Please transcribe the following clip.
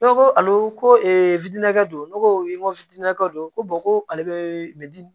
Ne ko ko ale ko don ne ko n ko fitini naka don ko ko ale be